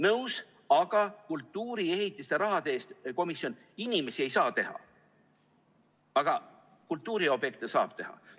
Nõus, aga kultuuriehitiste raha eest komisjon inimesi ei saa teha, aga kultuuriobjekte saab teha.